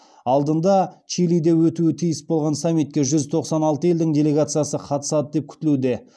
алдында чилиде өтуі тиіс болған саммитке жүз тоқсан алты елдің делегациясы қатысады деп күтілуде